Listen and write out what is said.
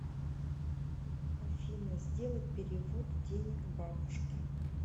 афина сделать перевод денег бабушке